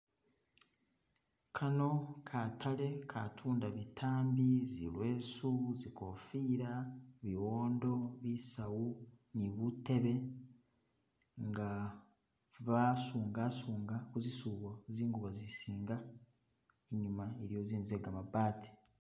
Kano katale ka'tunda bitambi, zilwesu, zikofila, biwondo, bisawu ni butebe, i'nga ba'sunga sunga kuzisubo zingubo zisinga, inyuma iliyo zinzu ze gamabati